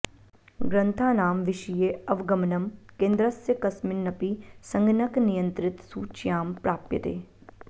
ग्रन्थाणाम विषये अवगमनं केन्द्रस्य कस्मिन्नपि संगणकनियन्त्रित सूच्यां प्राप्यते